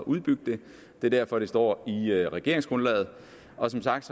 udbygge den derfor står i regeringsgrundlaget og som sagt